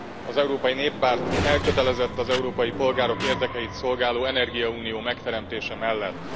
Az Európai Néppárt elkötelezett az európai polgárok érdekeit szolgáló energiaunió megteremtése mellett.